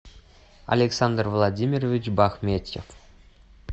александр владимирович бахметьев